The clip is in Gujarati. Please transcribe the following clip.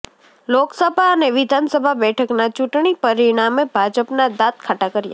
લોકસભા અને વિધાનસભા બેઠકના ચૂંટણી પરિણામે ભાજપના દાંત ખાટા કર્યા